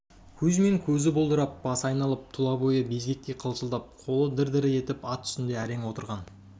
кузьмин көзі бұлдырап басы айналып тұла бойы безгектей қалшылдап қолы дір-дір етіп ат үстінде әрең отырған